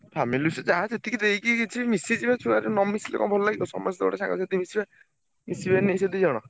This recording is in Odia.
Family issue ଯାହା ଯେତିକି ଦେଇକି କିଛି ମିଶି ଯିବେ ଛୁଆ ନ ମିଶିଲେ କଣ ଭଲ ଲାଗିବ, ସମସ୍ତେ ଗୋଟେ ସାଙ୍ଗସାଥି ମିଶିବେ ମିଶିବେନି ସେ ଦି ଜଣ।